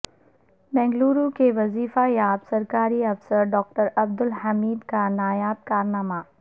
بنگلورو کے وظیفہ یاب سرکاری افسر ڈاکٹرعبدالحمید کا نایاب کارنامہ